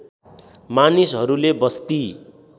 मानिसहरूले बस्ती